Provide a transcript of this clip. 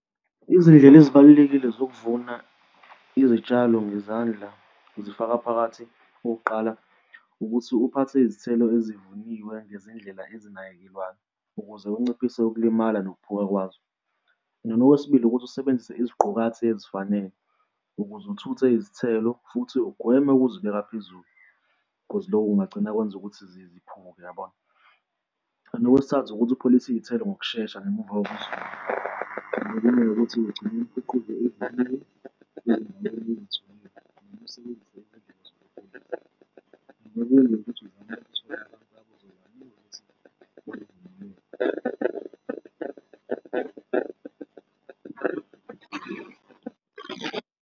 Izindlela ezibalulekile zokuvuna izitshalo ngezandla zifaka phakathi okokuqala ukuthi uphathe izithelo ezivuniwe ngezindlela ezinakekelwayo ukuze unciphise ukulimala nokhuphuka kwazo. Noma okwesibili ukuthi usebenzise iziqukathi ezifanele ukuze uthuthe izithelo futhi ugweme ukuzibeka phezulu, cause lokho kungagcina kwenze ukuthi ziphuke, yabona? And okwesithathu ukuthi upholise iy'thelo ngokushesha ngemuva ekumele ukuthi ekugcineni kuquke .